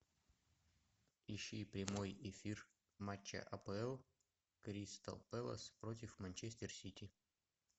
ищи прямой эфир матча апл кристал пэлас против манчестер сити